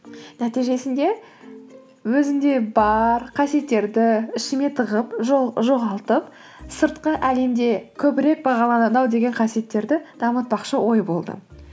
нәтижесінде өзімде бар қасиеттерді ішіме тығып жоғалтып сыртқы әлемде көбірек бағаланады ау деген қасиеттерді дамытпақшы ой болды